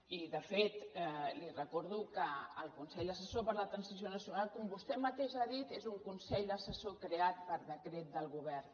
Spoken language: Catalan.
i de fet li recordo que el consell assessor per a la transició nacional com vostè mateix ha dit és un consell assessor creat per decret del govern